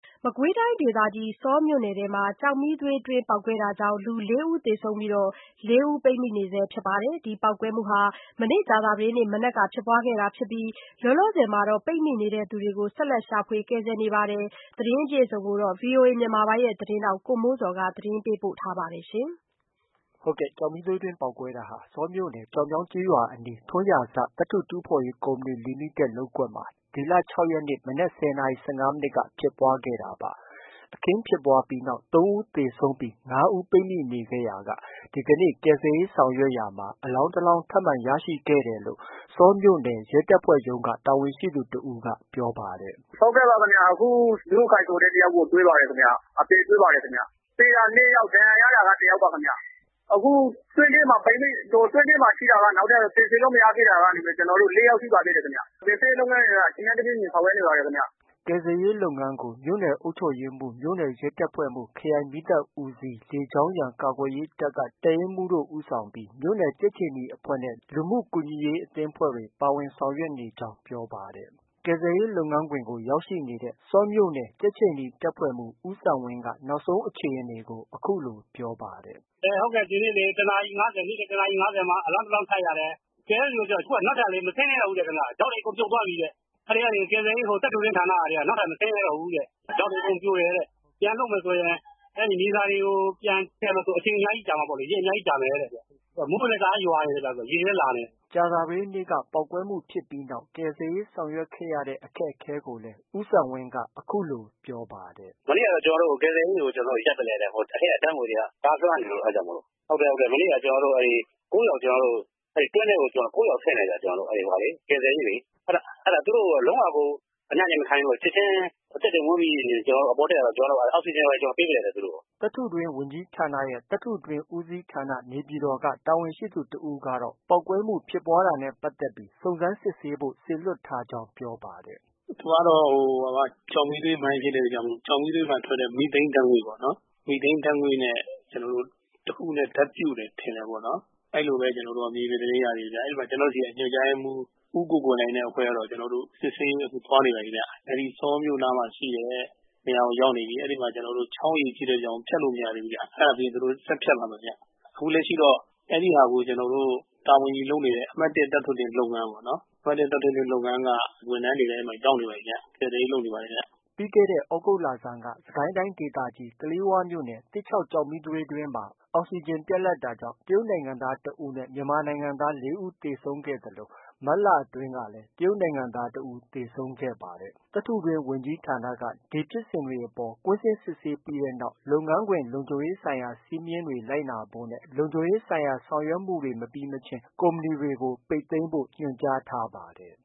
မကွေးတိုင်းဒေသကြီး ဆောမြို့နယ်မှာ ကျောက်မီးသွေးတွင်းပေါက်ကွဲတာကြောင့် လူ ၄ ဦးသေ ဆုံးပြီး ၄ ဦး ပိတ်မိနေပါတယ်။ ဒီပေါက်ကွဲမှုဟာ ကြာသပတေးနေ့ မနက်က ဖြစ်ပွားခဲ့တာဖြစ်ပြီး လောလော ဆယ်မှာ ပိတ်မိနေသူတွေကို ဆက်လက်ရှာဖွေ ကယ်ဆယ်နေပါတယ်။ ဒီသတင်း ကိုတော့ ဗွီအိုအေမြန်မာပိုင်း သတင်းထောက် ကိုမိုးဇော်က တင်ပြထားပါတယ်။ ကျောက်မီးသွေးတွင်းပေါက်ကွဲမှုဟာ ဆောမြို့နယ် ကျောက်မြောင်းရွာအနီးရှိ ထွန်းရာဇသတ္တု တူးဖော်ရေး ကုမ္ပဏီလီမိတက်လုပ်ကွက်မှာ ဒီလ ၆ ရက်နေ့ မနက် ၁၀ နာရီ ၁၅ မိနစ်ခန့် မှာဖြစ်ပွား ခဲ့တာပါ။ အခင်းဖြစ်ပွားပြီးနောက် ၃ ဦးသေဆုံးခဲ့ပြီး ၅ ဦးပိတ်မိနေခဲ့ရာက ဒီကနေ့ကယ်ဆယ်ရေးဆောင်ရွက် ရာမှာ အလောင်း ၁ လောင်း ထပ်မံရရှိခဲ့တယ်လို့ ဆောမြို့နယ် ရဲတပ်ဖွဲ့ရုံးက တာဝန်ရှိသူတဦးက ပြောဆိုခဲ့ပါတယ်။ “ဟုတ်ကဲ့ပါခင်ဗျ။ အခု မျိုးခိုင်ဆိုတဲ့ တယောက်ကို တွေ့ပါတယ်ခင်ဗျ။ အသေတွေ့ပါတယ်ခင်ဗျ။ သေတာ ၄ ယောက် ဒဏ်ရာရတာက တစ်ယောက်ပါခင်ဗျ။ အခု တွင်းထဲမှာ ပိတ်မိ၊ တွင်းထဲမှာ ရှိတာက ကယ်ဆယ်လို့ မရသေးတာက ၄ ယောက်ရှိပါသေးတယ်ခင်ဗျ။ ကယ်ဆယ်ရေး လုပ်ငန်းတွေ အချိန်နဲ့ တပြေးညီ ဆောင်ရွက်နေ ပါတယ်ခင်ဗျ။” ကယ်ဆယ်ရေးလုပ်ငန်းကို မြို့နယ်အုပ်ချုပ်ရေးမှူး၊ မြို့နယ်ရဲတပ်ဖွဲ့မှူး၊ခရိုင်မီးသတ်ဦးစီး၊ လေကြောင်းရန် ကာကွယ်ရေးတပ်က တပ်ရင်းမှူးဦးဆောင်ပြီး မြို့နယ်ကြက်ခြေနီအဖွဲ့နဲ့ လူမှုကူညီရေးအသင်းအဖွဲ့တွေ ပါဝင်ဆောင်ရွက်နေကြောင်း ပြောပါတယ်။ ကယ်ဆယ်ရေးလုပ်ငန်းခွင်မှာ ရောက်ရှိနေတဲ့ ဆောမြို့နယ် ကြက်ခြေနီတပ်ဖွဲ့မှူး ဦးစံဝင်းက နောက်ဆုံး အခြေအနေကို အခုလို ပြောပါတယ်။ “ဒီနေ့ ၁ နာရီ ၅၀ မှာ အလောင်းတလောင်းထပ်ရတယ်။ ကယ်တဲ့သူတွေလေ အခုနောက်ထပ် မဆင်းရဲ တော့ဘူးတဲ့ခင်ဗျ။ ဒေါက်တွေအကုန်ပြုတ်သွားပြီတဲ့။ အဲဒီ ကယ်ဆယ်ရေး သတ္တုတွင်းဌာနကဟာတွေက နောက် ထပ်မဆင်းရဲတော့ဘူးတဲ့။ ဒေါက်တွေ အကုန်ပြိုတယ်-တဲ့။ ပြန်လုပ်မယ်ဆိုရင် မြေစာတွေကို ပြန်ဖယ်မယ်ဆို အချိန်အများကြီးကြာမှာပေါ့လေ၊ ရက်အများကြီး ကြာမယ်-တဲ့။ ခုမိုးကလည်း တအားရွာနေ တယ်။ ရေတွေလည်း လာနေတယ်။” ကြာသပတေးနေ့က ပေါက်ကွဲမှုဖြစ်ပြီးနောက် ကယ်ဆယ်ရေးဆောင်ရွက်ခဲ့ရတဲ့ အခက်အခဲကိုလည်း ဦးစံဝင်းက အခုလို ပြောပါတယ်။ “မနေ့က ကယ်ဆယ်ရေးကို ကျနော်တို့ ရပ်ပစ်လိုက်ရတယ်။ အထဲက ဓါတ်ငွေ့တွေက တအားလွှမ်းနေလို့၊ မနေ့က တွင်းထဲကို ၉ ယောက်ဆင်းတယ်ဗျ။ ကယ်ဆယ်ရေးလေ။ သူတို့ အဲဒါလုံးဝကို အနံတွေ မခံနိုင်လို့ ချက်ချင်း အသက်တွေမွန်းပြီး အပေါ်တက်လာတော့ အောက်စီဂျင်တွေ ဘာတွေ ပေး ပေးရတယ် သူတို့ကို။ ” သတ္တုတွင်းဝန်ကြီးဌာနရဲ့ သတ္တုတွင်း ဦးစီးဌာန က တာဝန်ရှိသူတဦးကတော့ ပေါက်ကွဲမှု ဖြစ်ပွားတာနဲ့ ပတ်သက်ပြီး စုံစမ်းစစ်ဆေးဖို့ စေလွှတ်ထားကြောင်း ပြောပါတယ်။ “သူကတော့ ကျောက်မီးသွေးမိုင်းဖြစ်တဲ့အတွက်ကြောင့် ကျောက်မီးသွေးမှာ ထွက်တဲ့ မီသိန်းဓါတ်ငွေ့ပေါ့။ မီသိန်းဓါတ်ငွေ့နဲ့ တခုခုနဲ့ ဓါတ်ပြုတယ်ထင်တယ်ပေါ့။ အဲလိုပဲကျနော်တို့ သတင်းရသေးတယ်ဗျ။ အဲဒီမှာ ကျနော်တို့ဆီက ညွှန်ကြားရေးမှူး ဦးကိုကိုလှိုင်နဲ့အဖွဲ့ကတော့ စစ်ဆေးရေးသွားနေပါပြီခင်ဗျ။ အဲဒီ ဆောမြို့ နားမှာရှိတဲ့ နေရာကိုရောက်နေပြီ။ အဲဒီမှာ ချောင်းရေကြီးတဲ့အတွက်ကြောင့် ဖြတ်လို့ မရသေးဘူး။ အဲဒါပြီးရင် သူတို့ ဆက်ဖြတ်ပါမယ်။ အခုလက်ရှိတော့ အဲဒီဟာကို တာဝန်ယူလုပ်နေတဲ့ အမှတ် ၁ သတ္တုတွင်းလုပ်ငန်းပေါ့ ။ အမှတ်၁ သတ္တုတွင်းလုပ်ငန်းက ဝန်ထမ်းတွေလည်း ရောက်နေပါပြီခင်ဗျ။ ” ပြီးခဲ့တဲ့ သြဂုတ်လဆန်းက စစ်ကိုင်းတိုင်းဒေသကြီး ကလေးဝမြို့နယ် သစ်ချောက်ကျောက်မီးသွေးတွင်းမှာ အောက်စီဂျင်ပြတ်လပ်တာကြောင့် တရုတ်နိုင်ငံသားတဦးနဲ့ မြန်မာနိုင်ငံသား ၄ ဦးသေဆုံးခဲ့သလို မတ်လ အတွင်းကတော့ တရုတ်နိုင်ငံသားတဦး သေဆုံးခဲ့ပါတယ်။ သတ္တုတွင်းဝန်ကြီးဌာနက ဒီဖြစ်စဉ်တွေအပေါ် ကွင်းဆင်းစစ်ဆေးပြီးနောက်မှာ လုပ်ငန်းခွင်လုံခြုံရေးဆိုင်ရာ စည်းမျဉ်းတွေ လိုက်နာဖို့နဲ့ လုံခြုံရေးဆိုင်ရာ ဆောင်ရွက်မှုတွေ မပြီးမချင်း ကုမ္ပဏီတွေကို ပိတ်သိမ်းဖို့ ညွှန်ကြားထားပါတယ်